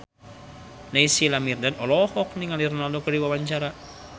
Naysila Mirdad olohok ningali Ronaldo keur diwawancara